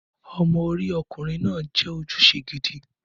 Ọmọ orí ọkùnrin náà jẹ́ ojúṣe gidi.